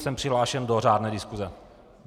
Jsem přihlášen do řádné diskuse.